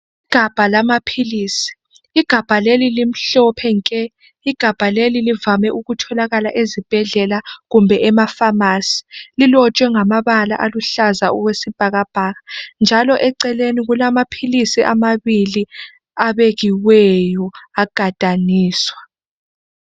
Igabha lamaphilisi, igabha leli limhlophe nke, igabha leli livame kutholakala ezibhedlela kumbe emaphamarcy. Lilotshwe ngamabala aluhlaza okwesibhakabhaka njalo eceleni kulamaphilisi amabili abekiweyo agadaniswa.